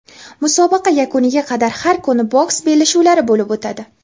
musobaqa yakuniga qadar har kuni boks bellashuvlari bo‘lib o‘tadi.